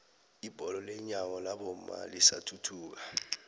ibholo lenyawo labomma lisathuthuka